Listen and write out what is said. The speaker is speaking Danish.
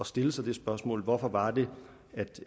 stille sig dette spørgsmål hvorfor var det